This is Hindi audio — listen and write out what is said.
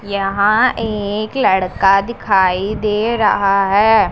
यहां एक लड़का दिखाई दे रहा हैं।